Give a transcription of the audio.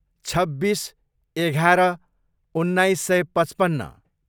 छब्बिस, एघार, उन्नाइस सय पचपन्न